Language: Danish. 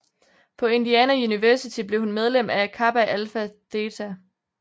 På Indiana University blev hun medlem af Kappa Alpha Theta